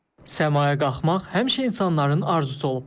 Səmaya qalxmaq həmişə insanların arzusu olub.